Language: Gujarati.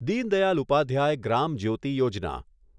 દીન દયાલ ઉપાધ્યાય ગ્રામ જ્યોતિ યોજના